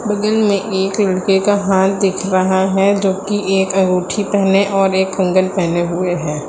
बगल में एक लड़के का हाथ दिख रहा है जो कि एक अंगूठी पहने और एक कंगन पहने हुए हैं।